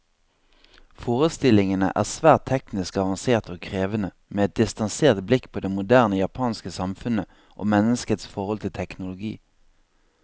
Forestillingene er svært teknisk avanserte og krevende, med et distansert blikk på det moderne japanske samfunnet, og menneskets forhold til teknologi.